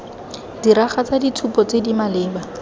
diragatsa ditshupo tse di maleba